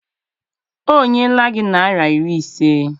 O nyela gi naira iri ise?